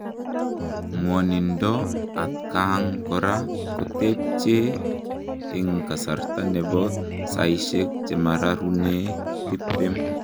Ngwonindoo atkaang koraa kotepchee eng kasartaa nepoo saisiek chemaregunee tiptem